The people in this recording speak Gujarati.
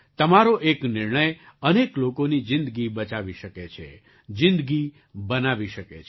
તમારો એક નિર્ણય અનેક લોકોની જિંદગી બચાવી શકે છે જિંદગી બનાવી શકે છે